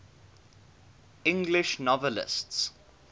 english novelists